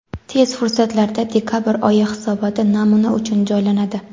Tez fursatlarda dekabr oyi hisoboti namuna uchun joylanadi.